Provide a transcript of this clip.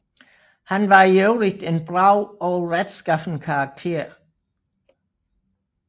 Han var i øvrigt en brav og retskaffen karakter